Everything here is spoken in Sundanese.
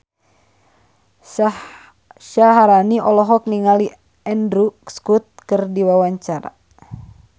Syaharani olohok ningali Andrew Scott keur diwawancara